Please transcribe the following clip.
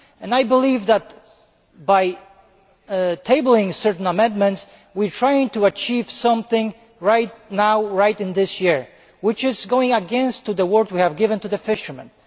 I believe that by tabling certain amendments we are trying to achieve something right now this year which is going against the word we have given to the fishermen.